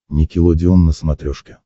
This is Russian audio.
никелодеон на смотрешке